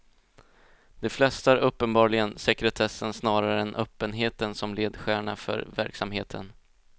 De flesta hade uppenbarligen sekretessen snarare än öppenheten som ledstjärna för verksamheten.